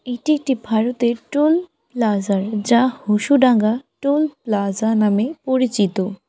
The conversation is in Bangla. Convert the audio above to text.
এটি একটি ভারতের টোল প্লাজার যা হোসুডাঙ্গা টোল প্লাজা নামে পরিচিত।